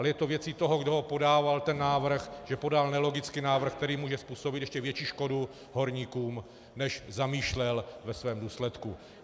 Ale je to věcí toho, kdo ho podával ten návrh, že podal nelogický návrh, který může způsobit ještě větší škodu horníkům, než zamýšlel ve svém důsledku.